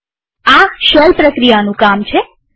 આ શેલ પ્રક્રિયાનું કામ છે